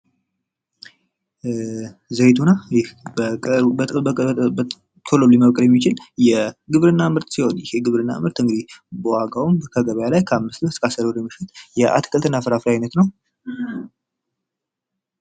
ዘይቶና ይህ ቶሎ መብቀል የሚችል የግብርና ምርት ሲሆን ይህ የግብርና ምርት እንግዲህ በዋጋውም ከገበያ ላይ ከ5-10 ብር የሚሸጥ የአትክልትና ፍራፍሬ አይነት ነው።